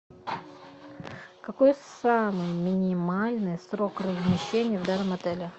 какой самый минимальный срок размещения в данном отеле